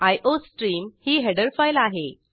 iostream ही header file आहे